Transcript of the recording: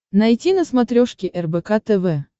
найти на смотрешке рбк тв